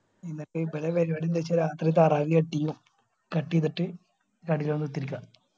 എന്നിട്ട് ഇവരെ പരുവാടി എന്താന്ന് വെച്ചുകഴിഞ രാത്രി താറാവിയ cut യ്യും cut എയ്തിട്ട് കടയിൽ വന്ന് കുതിരിക്ക